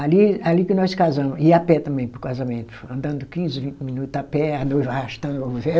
Ali, ali que nós casamo, ia a pé também para o casamento, andando quinze, vinte minutos a pé, a noiva arrastando o véu